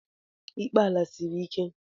Ikpe ala siri ike.